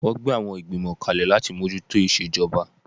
Wọ́n gbé àwọn Ìgbìmọ̀ kalẹ̀ láti mójú tó ìṣejọba